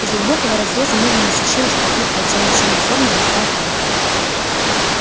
из глубокого разреза медленно сочилась пропитывая тёмно-синюю форму густая кровь